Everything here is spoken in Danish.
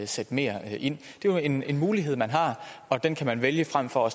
sætte mere ind det er jo en en mulighed man har og den kan man vælge frem for at